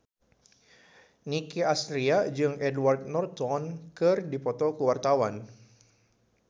Nicky Astria jeung Edward Norton keur dipoto ku wartawan